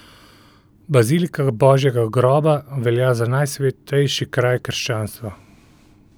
Bazilika Božjega groba velja za najsvetejši kraj krščanstva.